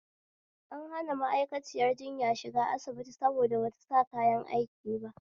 An hana ma'akaciyar jinya shiga asibiti saboda bata sa kayan aiki ba